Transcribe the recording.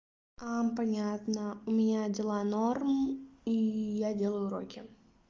а понятно у меня дела норм и я делаю уроки